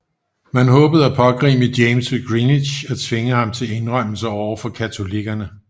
Man håbede at pågribe James ved Greenwich og tvinge ham til indrømmelser overfor katolikkerne